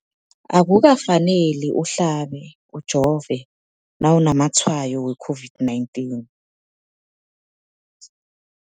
Akuka faneli uhlabe, ujove nawu namatshayo we-COVID-19.